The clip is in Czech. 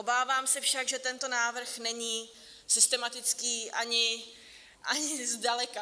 Obávám se však, že tento návrh není systematický ani zdaleka.